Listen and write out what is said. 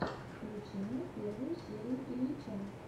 включи мне первую серию ильича